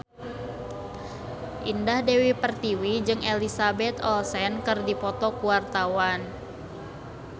Indah Dewi Pertiwi jeung Elizabeth Olsen keur dipoto ku wartawan